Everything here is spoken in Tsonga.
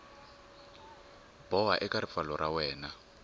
boha eka ripfalo ra wena